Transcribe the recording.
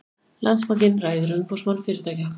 Landsbankinn ræður Umboðsmann fyrirtækja